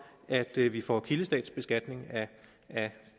at vi vi får kildestatsbeskatning af